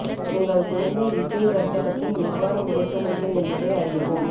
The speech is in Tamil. உங்கள் குழந்தை இசை வர்த்தகத்தில் எவ்வாறு உடைக்க முடியும் என்பதை அறியவும்